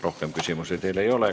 Rohkem teile küsimusi ei ole.